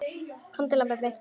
Komdu, lambið mitt.